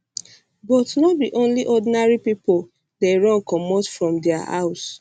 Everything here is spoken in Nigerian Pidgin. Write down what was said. but no be only ordinary pipo dey run comot from dia house